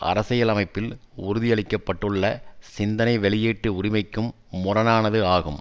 அரசியலமைப்பில் உறுதியளிக்கப்பட்டுள்ள சிந்தனை வெளீயீட்டு உரிமைக்கும் முரணானது ஆகும்